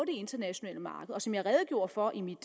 internationale marked og som jeg redegjorde for i mit